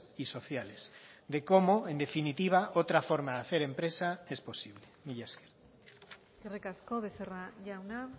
y sociales de cómo en definitiva otra forma de hacer empresa es posible mila esker eskerrik asko becerra jauna